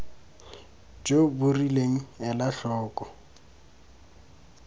jo bo rileng ela tlhoko